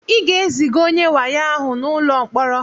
Ị ga-eziga onye wayo ahụ n'ụlọ mkpọrọ!